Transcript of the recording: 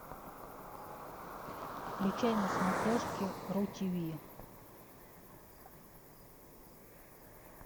включай на смотрешке ру тв